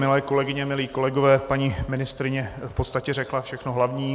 Milé kolegyně, milí kolegové, paní ministryně v podstatě řekla všechno hlavní.